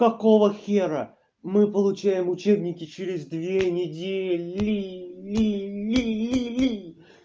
какого хера мы получаем учебники через две недели ли ли ли ли